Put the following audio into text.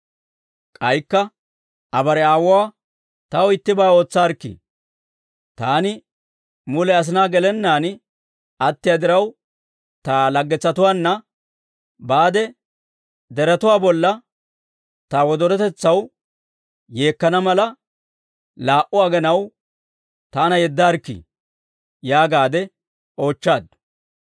K'aykka Aa bare aawuwaa, «Taw ittibaa ootsaarikkii. Taani mule asinaa gelennaan attiyaa diraw, ta laggetsatuwaanna baade deretuwaa bolla ta wodorotetsaw yeekkana mala, laa"u aginaw taana yeddaarikkii» yaagaadde oochchaaddu.